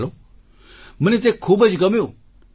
ચાલો મને તે ખૂબ જ ગમ્યું